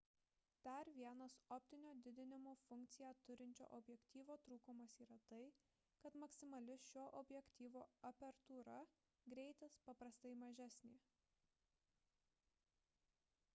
dar vienas optinio didinimo funkciją turinčio objektyvo trūkumas yra tai kad maksimali šio objektyvo apertūra greitis paprastai mažesnė